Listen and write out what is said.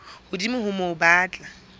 hodimo ho moo ba tla